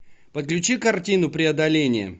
подключи картину преодоление